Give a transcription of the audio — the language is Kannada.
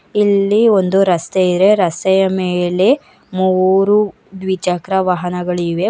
ಇಲ್ಲಿ ಒಂದು ರಸ್ತೆ ಇದೆ ರಸ್ತೆಯ ಮೇಲೆ ಮೂರು ದ್ವಿಚಕ್ರ ವಾಹನಗಳಿವೆ.